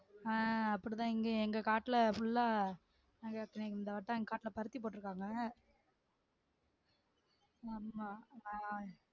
ஆஹ் அப்படிதான் இங்கேயும் எங்க காட்டுல full ஆ இந்த வட்டம் எங்க காட்டுல பருத்தி போட்டுருக்காங்க ஆமா ஆஹ்